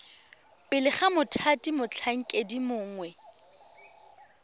pele ga mothati motlhankedi mongwe